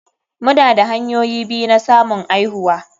Muna da hanyoyi biyu na samun aihuwa.